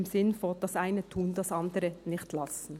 Im Sinne von: das Eine tun und das andere nicht lassen.